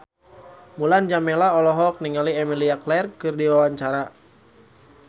Mulan Jameela olohok ningali Emilia Clarke keur diwawancara